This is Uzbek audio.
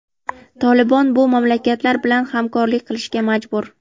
"Tolibon" bu mamlakatlar bilan hamkorlik qilishga majbur.